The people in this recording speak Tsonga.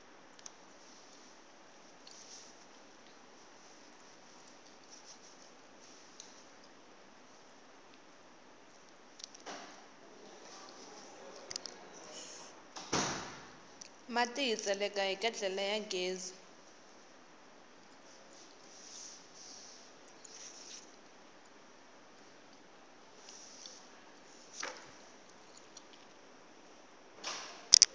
mati hi tseleka hi ketlele ya ghezi